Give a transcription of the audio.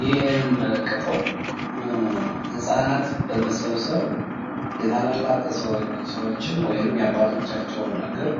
ይህ የምንመለከተው ህፃናት በመሰብሰብ የታላላቅ ሰዎችን ወይም የአባቶቻቸውን እግር